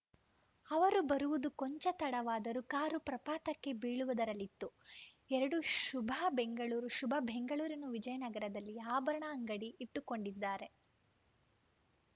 ಅವರು ಬರುವುದು ಕೊಂಚ ತಡವಾದರೂ ಕಾರು ಪ್ರಪಾತಕ್ಕೆ ಬೀಳುವುದರಲ್ಲಿತ್ತು ಎರಡು ಶುಭಾ ಬೆಂಗಳೂರು ಶುಭಾ ಬೆಂಗಳೂರಿನ ವಿಜಯನಗರದಲ್ಲಿ ಆಭರಣದ ಅಂಗಡಿ ಇಟ್ಟುಕೊಂಡಿದ್ದಾರೆ